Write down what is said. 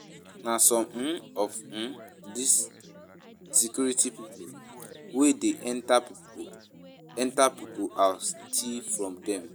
Na some um of um dis security people wey dey enter people enter people house still from dem